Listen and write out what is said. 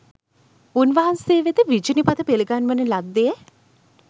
උන්වහන්සේ වෙත විජිනි පත පිළිගන්වන ලද්දේ